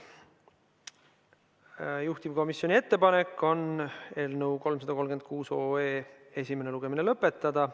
Juhtivkomisjoni ettepanek on eelnõu 336 esimene lugemine lõpetada.